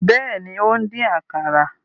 Bẹẹni, o n dín àkàrà